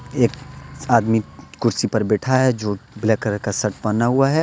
एक आदमी कुर्सी पर बैठा है जो ब्लैक कलर का शर्ट पहना हुआ है।